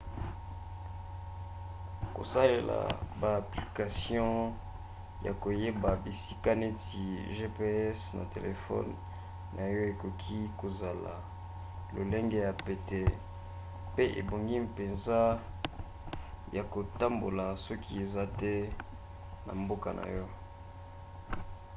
kosalela ba application ya koyeba bisika neti gps na telefone na yo ekoki kozala lolenge ya pete pe ebongi mpenza ya kotambola soki oza te na mboka na yo